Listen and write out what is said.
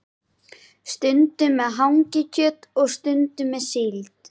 Stundum með hangikjöti og stundum með síld.